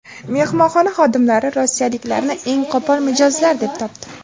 Mehmonxona xodimlari rossiyaliklarni eng qo‘pol mijozlar deb topdi.